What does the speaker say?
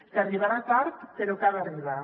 que arribarà tard però que ha d’arribar